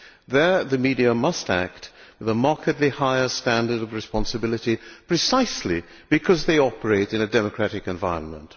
There the media must act with a markedly higher standard of responsibility precisely because they operate in a democratic environment.